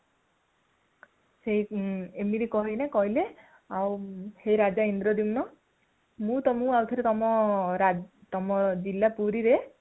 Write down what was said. ଏମିତି କହି କିନା କହିଲେ ଯେ ହେ ରାଜା ଇନ୍ଦ୍ରଦ୍ୟୁମ୍ନ ମୁଁ ଆଗରୁ ତୁମ ରାଜ୍ୟରେ ତୁମ ଜିଲ୍ଲା ପୁରୀ ରେ